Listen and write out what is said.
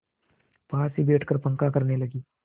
पास ही बैठकर पंखा करने लगी